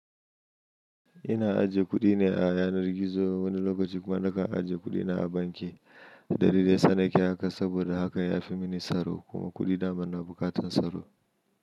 Ina ajiye kuɗi ne a yanar gizo wani lokaci kuma nakan ajiye kuɗi na a banki. Dalilin daya sa nake haka saboda hakan ya fi mini tsaro kuma kuɗi daman na buƙatar tsaro.